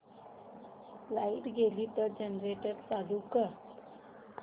light गेली तर generator चालू कर